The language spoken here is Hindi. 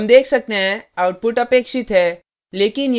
हम देख सकते हैं output अपेक्षित है